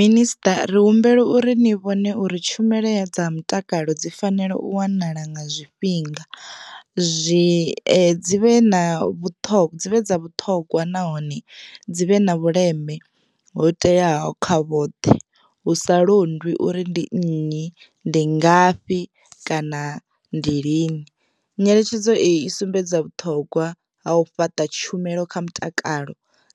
Minister ri humbele uri ni vhone uri tshumelo dza mutakalo dzi fanela u wanala nga zwifhinga zwi dzi vhe na vhuṱhongwa dzivhe dza vhuṱhogwa nahone dzi vhe na vhuleme ho teaho kha vhoṱhe hu sa londwi uri ndi nnyi, ndi ngafhi kana ndi lini. Nyeletshedzo eyi I sumbedza vhuṱhogwa ha u fhaṱa tshumelo kha mutakalo